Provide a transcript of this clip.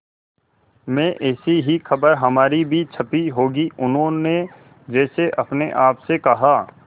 में ऐसी ही खबर हमारी भी छपी होगी उन्होंने जैसे अपने आप से कहा